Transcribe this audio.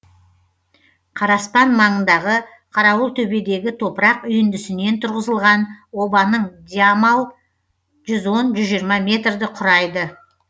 қараспан маңындағы қарауылтөбедегі топырақ үйіндісінен тұрғызылған обаның диамал жүз он жүз жиырма метрді құрайды